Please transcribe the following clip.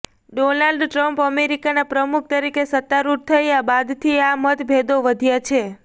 Donald Trump અમેરિકાના પ્રમુખ તરીકે સત્તારૂઢ થયા બાદથી આ મતભેદો વધ્યા છે